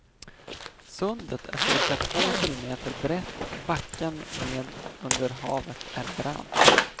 Sundet är cirka två kilometer brett och backen ned under havet är brant.